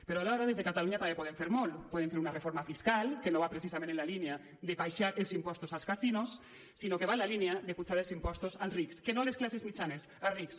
però alhora des de catalunya també podem fer molt podem fer una reforma fiscal que no va precisament en la línia d’abaixar els impostos als casinos sinó que va en la línia d’apujar els impostos als rics que no a les classes mitjanes als rics